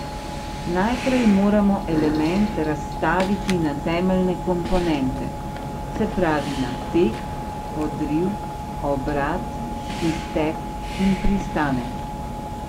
Najprej moramo element razstaviti na temeljne komponente, se pravi na tek, odriv, obrat, izteg in pristanek.